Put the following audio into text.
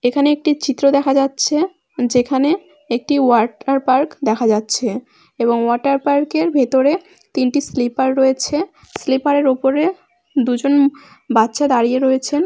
এখানে একটি চিত্র দেখা যাচ্ছে যেখানে একটি ওয়াটার পার্ক দেখা যাচ্ছে এবং ওয়াটার পার্ক এর ভেতরে তিনটি স্লিপার রয়েছে। স্লিপারের উপরে দুজন বাচ্চা দাঁড়িয়ে রয়েছেন।